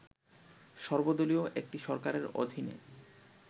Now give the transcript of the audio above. সর্বদলীয় একটি সরকারের অধীনে